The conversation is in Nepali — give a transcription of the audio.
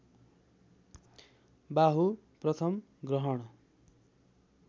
बाहु प्रथम ग्रहण